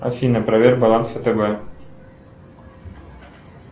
афина проверь баланс втб